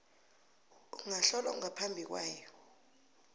ukuhlolwa ngaphambi kwayo